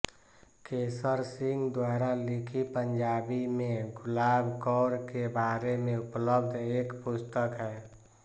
केसर सिंह द्वारा लिखी पंजाबी में गुलाब कौर के बारे में उपलब्ध एक पुस्तक है